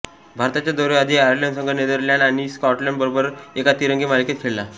भारताच्या दौऱ्याआधी आयर्लंड संघ नेदरलँड्स आणि स्कॉटलंड बरोबर एका तिरंगी मालिकेत खेळला